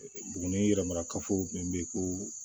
Buguni yɛrɛ marakafo min bɛ ye ko